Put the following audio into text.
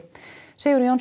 Sigurður Jónsson